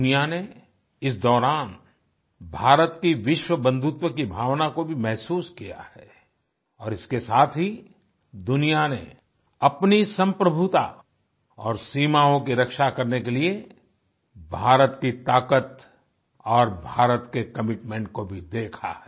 दुनिया ने इस दौरान भारत की विश्व बंधुत्व की भावना को भी महसूस किया है और इसके साथ ही दुनिया ने अपनी संप्रभुता और सीमाओं की रक्षा करने के लिए भारत की ताकत और भारत के कमिटमेंट को भी देखा है